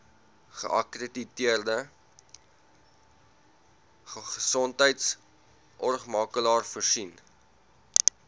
geakkrediteerde gesondheidsorgmakelaar voorsien